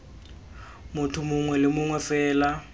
motho mongwe le mongwe fela